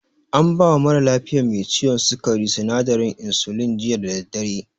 An bawa mara lafiyan me ciwon sukari sinadarin insulin, jiya da daddare.